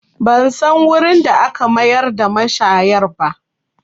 Ban san wurin da aka mayar da mashayar ba